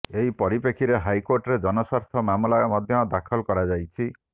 ଏହି ପରିପ୍ରେକ୍ଷୀରେ ହାଇକୋର୍ଟରେ ଜନସ୍ୱାର୍ଥ ମାମଲା ମଧ୍ୟ ଦାଖଲ କରାଯାଇଛି